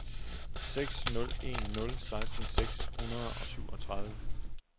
seks nul en nul seksten seks hundrede og syvogtredive